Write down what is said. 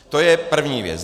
To je první věc.